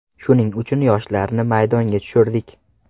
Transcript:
Shuning uchun yoshlarni maydonga tushirdik.